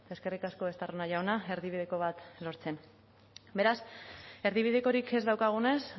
eskerrik asko estarrona jauna erdibideko bat lortzen beraz erdibidekorik ez daukagunez